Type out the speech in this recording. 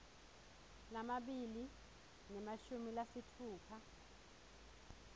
lamabili nemashumi lasitfupha